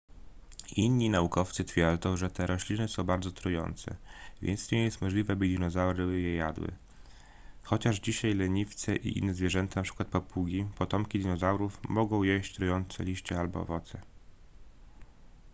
inni naukowcy twierdzą że te rośliny są bardzo trujące więc nie jest możliwe by dinozaury je jadły chociaż dzisiaj leniwce i inne zwierzęta np. papugi potomki dinozaurów mogą jeść trujące liście albo owoce